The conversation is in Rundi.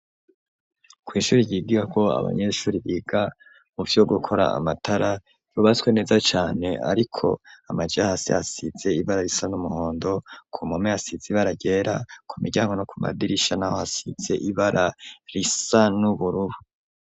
Kw'ishure ryigako abanyeshure biga muvyo gukora amatara ryubatswe neza cane ariko amaja hasi hasize ibara risa n'umuhondo ku mpome hasize ibara ryera ku miryango no ku madirisha naho hasize ibara risa n'uburubu.